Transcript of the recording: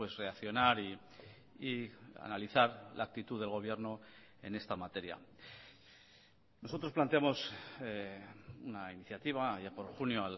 reaccionar y analizar la actitud del gobierno en esta materia nosotros planteamos una iniciativa allá por junio